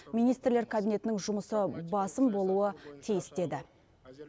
министрлер кабинетінің жұмысы басым болуы тиіс деді